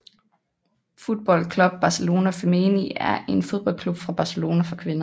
Futbol Club Barcelona Femení er en fodboldklub fra Barcelona for kvinder